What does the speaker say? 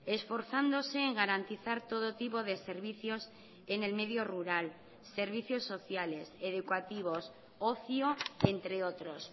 esforzándose en garantizar todo tipo de servicios en el medio rural servicios sociales educativos ocio entre otros